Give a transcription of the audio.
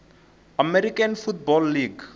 american football league